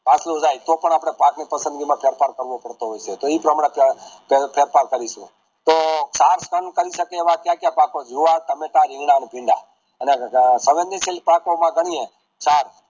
જાય તો પણ આપણે પાકની પસંદગી માં ફેર ફાર કરવો પડતો હોય છે તો એ પ્રમાણે ફેર ફાર કરીશુ તો કરી શકીએ એવા કયા કાયા પાકો જોવાર, ટામેટા, રીંગણાં, અને ભીંડા અને પાકો માં ગણિયે ચાર